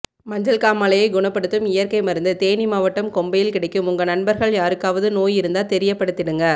மஞ்சள்காமாலைய குணப்படுத்தும் இயற்கை மருந்து தேனிமாவட்டம் கொம்பையில் கிடைக்கும் உங்க நண்பர்கள் யாருக்காவது நோய் இருந்தா தெரியப்படுதிடுங்க